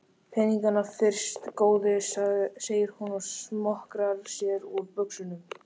Peningana fyrst góði, segir hún og smokrar sér úr buxunum.